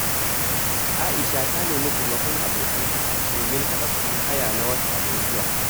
Aisha ta nemi taimakon abokanta domin haɗa kuɗin haya na wata mai zuwa.